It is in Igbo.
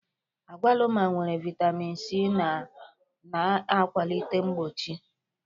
Agwaluma nwere vitamin C ma na-akwalite mgbochi.